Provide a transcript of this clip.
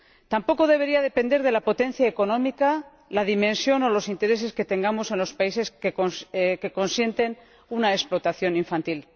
tampoco debería depender de la potencia económica, la dimensión o los intereses que tengamos en los países que consienten una explotación infantil.